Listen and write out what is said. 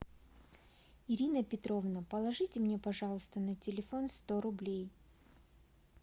ирина петровна положите мне пожалуйста на телефон сто рублей